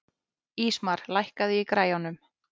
Ísmar, lækkaðu í græjunum.